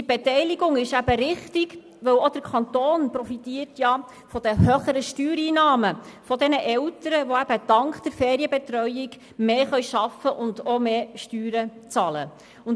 Die Beteiligung ist richtig, weil der Kanton von den höheren Steuereinnahmen der Eltern profitiert, die dank der Ferienbetreuung mehr arbeiten und auch mehr Steuern bezahlen können.